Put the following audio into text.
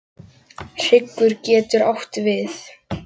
Hryggur getur átt við